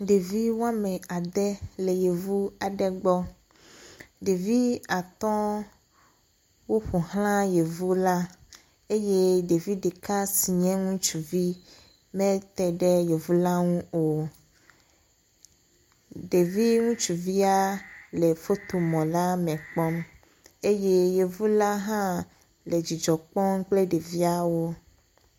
Ɖevi wo ame ade le Yevu aɖe gbɔ. Ɖevi atɔ̃ woƒo ʋlã Yevula eye ɖevi ɖeka si nye ŋutsuvi mete ɖe Yevu la ŋu o. Ɖevi ŋutsuvia le fotomɔla me kpɔm eye Yevula hã le dzidzɔ kpɔm kple ɖeviawo.